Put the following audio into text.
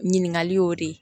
Ɲininkali y'o de